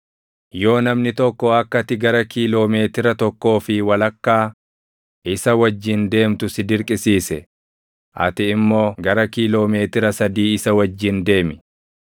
Yoo namni tokko akka ati gara kiiloo meetira tokkoo fi walakkaa isa wajjin deemtu si dirqisiise, ati immoo gara kiiloo meetira sadii isa wajjin deemi.